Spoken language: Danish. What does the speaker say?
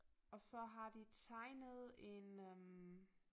Og så har de tegnet en øh